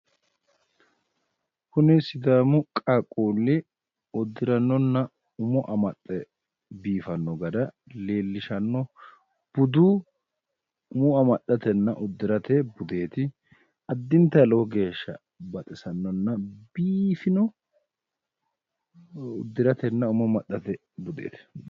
Kuni sidaamu qaaqquulli uddirannonna umo amaxxe biifanno gara leellishanno budu umo amaxxatenna uddirate budeeti. Addintayi lowo geeshsha baxisannonna biifino uddiratenna umo amaxxate budeeti.